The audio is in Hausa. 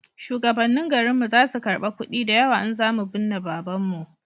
shugabannin garin mu za su karba kudi da yawa in za mu binne babanmu